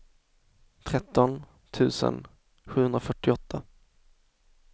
tretton tusen sjuhundrafyrtioåtta